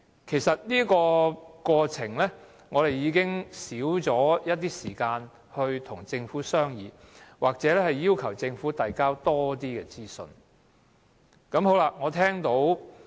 其實我們已經少了時間與政府商議或要求政府提交更多資料。